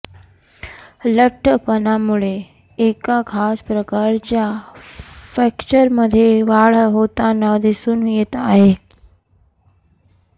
लठ्ठपणामुळे एका खास प्रकारच्या फ्रॅक्चरमध्ये वाढ होताना दिसून येत आहे